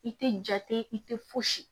I tɛ jate i tɛ fosi